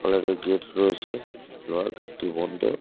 ওখানে গেট রয়েছে। লোহার গেট -টি বন্ধ।